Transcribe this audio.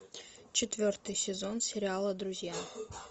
четвертый сезон сериала друзья